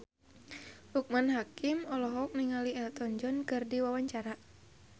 Loekman Hakim olohok ningali Elton John keur diwawancara